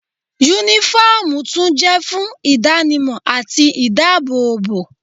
Únífọ́ọ̀mù tún jẹ́ fún ìdánimọ̀ àti ìdábòòbò